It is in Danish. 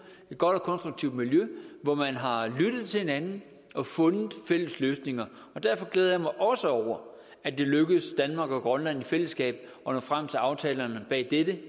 et godt og konstruktivt miljø hvor man har lyttet til hinanden og fundet fælles løsninger derfor glæder jeg mig også over at det er lykkedes danmark og grønland i fællesskab at nå frem til aftalerne bag dette